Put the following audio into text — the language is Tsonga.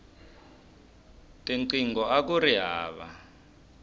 tinqingho akuri hava